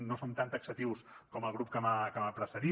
no som tan taxatius com el grup que m’ha precedit